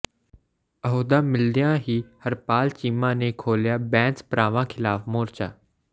ਅਹੁਦਾ ਮਿਲਦਿਆਂ ਹੀ ਹਰਪਾਲ ਚੀਮਾ ਨੇ ਖੋਲ੍ਹਿਆ ਬੈਂਸ ਭਰਾਵਾਂ ਖਿਲਾਫ ਮੋਰਚਾ